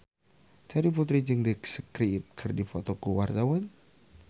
Terry Putri jeung The Script keur dipoto ku wartawan